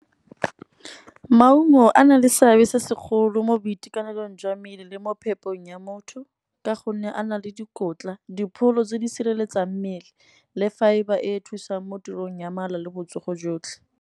Maungo a na le seabe se segolo mo boitekanelong jwa mmele le mo phetogong ya motho. Ka gonne a na le dikotla, dipholo tse di sireletsang mmele le fibre e e thusang mo tirong ya mala le botsogo jotlhe.